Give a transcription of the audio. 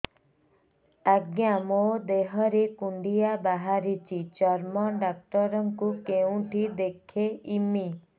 ଆଜ୍ଞା ମୋ ଦେହ ରେ କୁଣ୍ଡିଆ ବାହାରିଛି ଚର୍ମ ଡାକ୍ତର ଙ୍କୁ କେଉଁଠି ଦେଖେଇମି